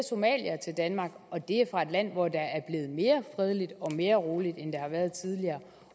somaliere til danmark og det er fra et land hvor der er blevet mere fredeligt og mere roligt end der har været tidligere